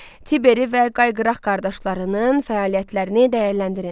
Tiberi və Qayqraq qardaşlarının fəaliyyətlərini dəyərləndirin.